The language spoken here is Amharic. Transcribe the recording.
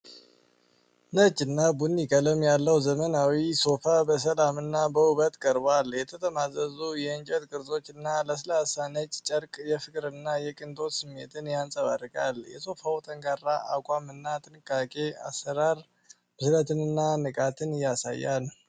ነጭ እና ቡኒ ቀለም ያለው ዘመናዊ ሶፋ በሰላም እና በውበት ቀርቧል። የተጠማዘዙ የእንጨት ቅርጾች እና ለስላሳ ነጭ ጨርቅ የፍቅርና የቅንጦት ስሜትን ያንጸባርቃል። የሶፋው ጠንካራ አቋም እና ጥንቃቄ አሰራር ብስለትንና ንቃትን ያሳያል።